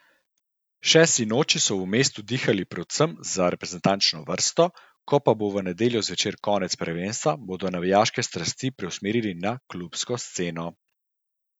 Še sinoči so v mestu dihali predvsem za reprezentančno vrsto, ko pa bo v nedeljo zvečer konec prvenstva, bodo navijaške strasti preusmerili na klubsko sceno.